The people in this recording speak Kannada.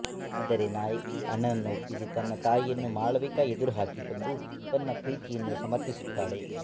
ಆದರೆ ನಾಯಕಿ ಅಣ್ಣನನ್ನು ಒಪ್ಪಿಸಿ ತನ್ನ ತಾಯಿಯನ್ನುಮಾಳವಿಕ ಎದುರು ಹಾಕಿಕೊಂಡು ತನ್ನ ಪ್ರೀತಿಯನ್ನು ಸಮರ್ಪಿಸುತ್ತಾಳೆ